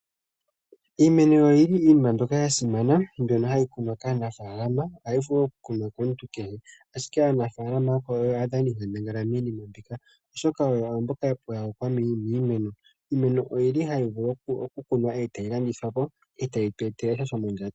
Iimeno oyi li iinima mbyoka ya simana mbyono ha yi kunwa kaanafalama oha yi vulu okukunwa komuntu kehe ashike aanafalama oyo aadhaninkandangala miinima mbika oshoka oyo mboka ya pyokoka miimeno. Iimeno oyi li hayi vulu okukunwa e tayi landithwapo e tayi tweetelesha shomondjato.